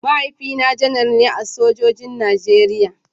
Mahaifina Janar ne a sojojin Najeriya.